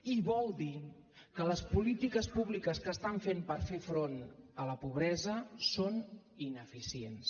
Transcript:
i vol dir que les polítiques públiques que estan fent per fer front a la pobresa són ineficients